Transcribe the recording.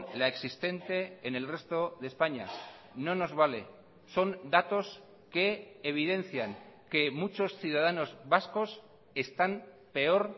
la existente en el resto de españa no nos vale son datos que evidencian que muchos ciudadanos vascos están peor